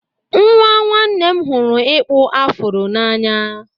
Nwa nwanne m hụrụ ịkpụ afro n'anya.